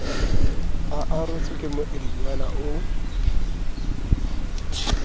a arotswe ke moedinyana o